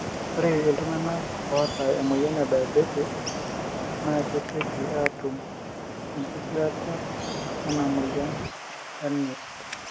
ore iltungana oata emoyian ediabates na kesioki atum engitirata ena emoyian enyirt.